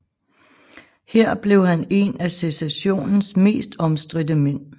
Her blev han en af secessionens mest omstridte mænd